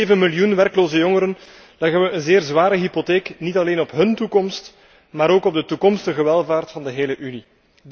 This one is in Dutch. Met zeven miljoen werkloze jongeren leggen we een zeer zware hypotheek niet alleen op hún toekomst, maar ook op de toekomstige welvaart van de hele Unie.